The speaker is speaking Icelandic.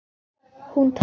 Hún talar.